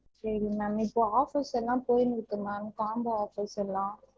சரிங்க ma'am இப்போ offers எல்லாம் போயினிருக்கு ma'am combo offers எல்லாம்